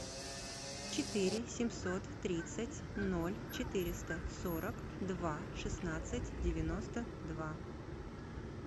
четыре семьсот тридцать ноль четыреста сорок два шестнадцать девяносто два